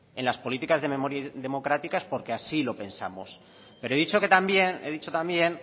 en las políticas de memoria democrática es porque así lo pensamos pero he dicho que también he dicho también